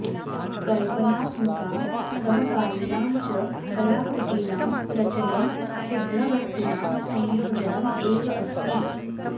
कल्पनात्मकां समकालीनां च कलाकृतीनां रचनं सिद्धवस्तूनां संयोजनम् एव अस्ति